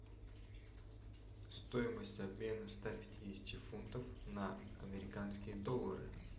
стоимость обмена ста пятидесяти фунтов на американские доллары